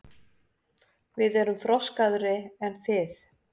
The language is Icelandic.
Við erum þroskaðri en þið.